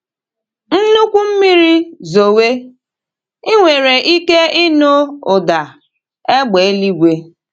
Nnukwu mmiri zowe, i nwere ike ịnụ ụda égbè eluigwe.